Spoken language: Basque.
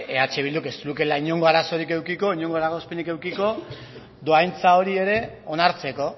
eh bilduk ez lukeela inongo arazorik edukiko inongo eragozpenik edukiko dohaintza hori ere onartzeko